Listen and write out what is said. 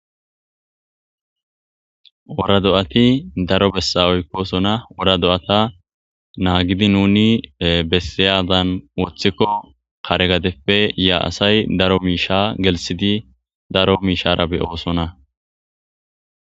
Wora do'ati daro bessan oykidoba wora do'ata naagidi nuni bessiyada wothikon kare dereppe yiyo asay daro misha gelsidi daro mishara be'osona.